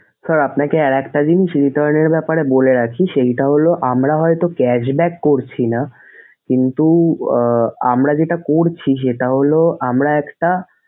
sir আপনাকে আর একটা জিনিস return এর ব্যাপারে বলে রাখি সেইটা হলো আমরা হয়তো cash back করছিনা কিন্তু আহ আমরা যেটা করছি সেটা হলো আমরা একটা,